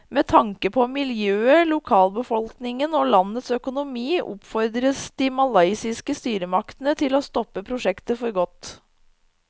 Med tanke på miljøet, lokalbefolkningen og landets økonomi oppfordres de malaysiske styresmaktene til å stoppe prosjektet for godt.